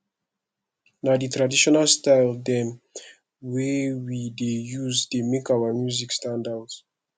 na di traditional style dem wey we dey use dey make our music stand out